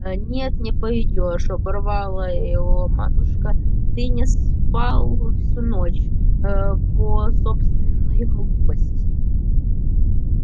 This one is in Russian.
а нет не пойдёшь оборвала его матушка ты не спал всю ночь по собственной глупости